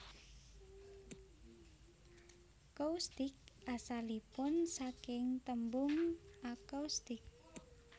Coustic asalipun saking tembung acoustic